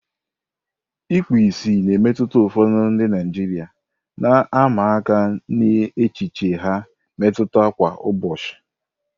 Ikpu ìsì na-emetụta ụfọdụ ndị Naijiria, na-ama aka n'echiche ha mmetụta kwa ụbọchị.